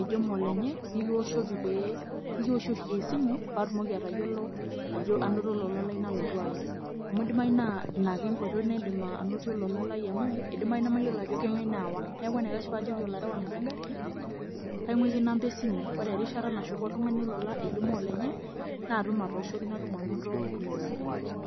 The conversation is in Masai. ejo molenye, nikiwoshoki pee, nikiwoshoki esimu, patumoki atayiolo ajo anoto olola lai nalotu aya. Amu idimayu naa inake enkoitoi naidim anotie olola lai amu, idimayu namayiolo ajo kang'ae naawa. Neeku enaikash pajoki olarewani legarri, kaing'uiki namba esimu. Ore erishata nashuku oltung'ani olola ejo molenye, natum atooshoki natum anoto olola lai.